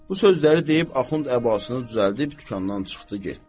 Bu sözləri deyib Axund əbasını düzəldib dükandan çıxdı getdi.